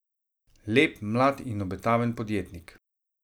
Lep, mlad in obetaven podjetnik.